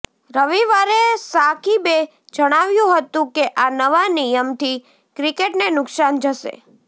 રવિવારે સાકિબે જણાવ્યું હતું કે આ નવા નિયમથી ક્રિકેટને નુકસાન જશે